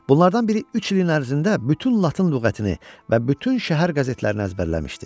Bunlardan biri üç ilin ərzində bütün Latın lüğətini və bütün şəhər qəzetlərini əzbərləmişdi.